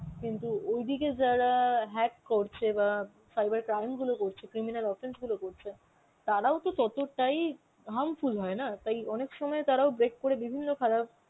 কিন্তু ওই দিকে যারা hack করছে বা cyber crime গুলো করছে, criminal offence গুলো করছে তারাও তো ততটাই harmful হয়না, তাই অনেক সময় তারাও বেশ করে বিভিন্ন খারাপ